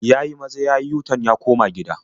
Ya yi maza ya yi yu-tan ya koma gida.